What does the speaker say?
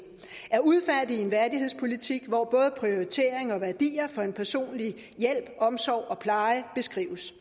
at udfærdige en værdighedspolitik hvor både prioriteringer og værdier for en personlig hjælp omsorg og pleje beskrives